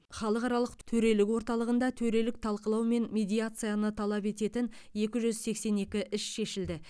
халықаралық төрелік орталығында төрелік талқылау мен медиацияны талап ететін екі жүз сексен екі іс шешілді